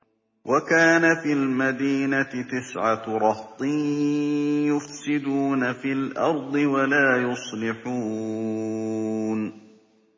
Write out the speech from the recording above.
وَكَانَ فِي الْمَدِينَةِ تِسْعَةُ رَهْطٍ يُفْسِدُونَ فِي الْأَرْضِ وَلَا يُصْلِحُونَ